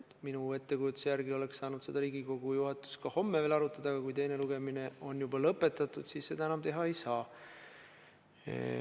Minu ettekujutuse järgi oleks Riigikogu juhatus saanud seda ka veel homme arutada, aga kui teine lugemine on juba lõpetatud, siis seda enam teha ei saa.